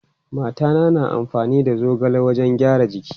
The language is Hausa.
Mata na amfani da zogale wajen gyaran jiki.